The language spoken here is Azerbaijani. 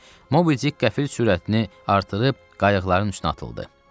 Mobidik qəfil sürətini artırıb qayıqların üstünə atıldı.